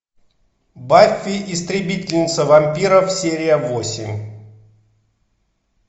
баффи истребительница вампиров серия восемь